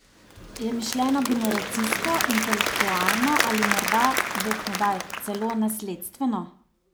Je mišljeno generacijsko, intelektualno ali morda, bog ne daj, celo nasledstveno?